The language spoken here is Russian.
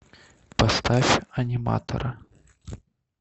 поставь аниматора